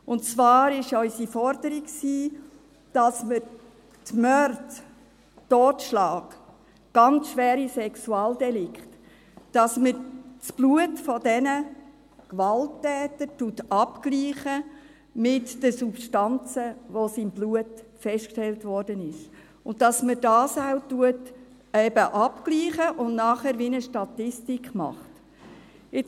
Und zwar war unsere Forderung, dass man bei Morden, Totschlag und ganz schweren Sexualdelikten das Blut dieser Gewalttäter abgleicht mit den Substanzen, die im Blut festgestellt wurden, dass man dies eben abgleicht und nachher eine Art Statistik macht.